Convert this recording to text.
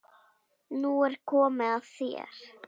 Nú er komið að þér.